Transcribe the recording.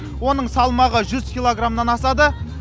оның салмағы жүз килограмнан асады